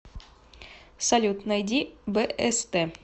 салют найди бст